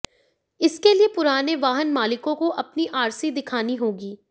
इसके लिए पुराने वाहन मालिकों को अपनी आरसी दिखानी होगी